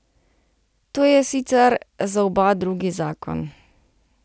To je sicer za oba drugi zakon.